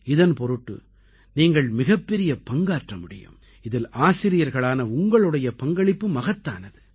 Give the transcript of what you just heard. இதன் பொருட்டு நீங்கள் மிகப்பெரிய பங்காற்ற முடியும் இதில் ஆசிரியர்களான உங்களுடைய பங்களிப்பு மகத்தானது